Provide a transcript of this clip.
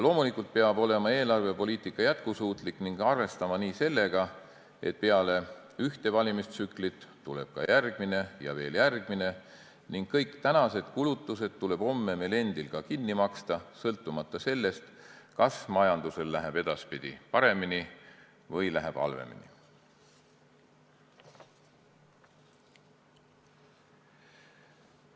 Loomulikult peab eelarvepoliitika olema jätkusuutlik ning arvestama sellega, et peale ühte valimistsüklit tuleb ka järgmine ja veel järgmine ning kõik tänased kulutused tuleb homme meil endil ka kinni maksta, sõltumata sellest, kas majandusel läheb edaspidi paremini või halvemini.